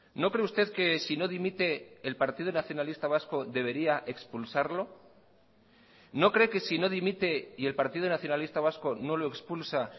no cree usted que si no dimite el partido nacionalista vasco debería expulsarlo no cree que si no dimite y el partido nacionalista vasco no lo expulsa